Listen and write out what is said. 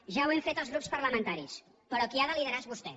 ja ho hem fet els grups parlamentaris però qui ha de liderar és vostè